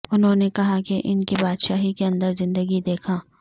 انہوں نے کہا کہ ان کی بادشاہی کے اندر زندگی دیکھا